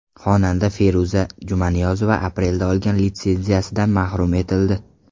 Xonanda Feruza Jumaniyozova aprelda olgan litsenziyasidan mahrum etildi.